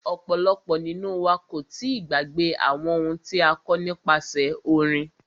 Ọ̀pọ̀lọpọ̀ nínú wa kò tíì gbàgbé àwọn ohun tí a kọ́ nípasẹ orin.